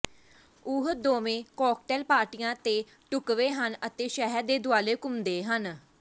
ਉਹ ਦੋਵੇਂ ਕਾਕਟੇਲ ਪਾਰਟੀਆਂ ਤੇ ਢੁਕਵੇਂ ਹਨ ਅਤੇ ਸ਼ਹਿਰ ਦੇ ਦੁਆਲੇ ਘੁੰਮਦੇ ਹਨ